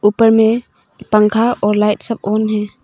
ऊपर में पंखा और लाइट सब ऑन है।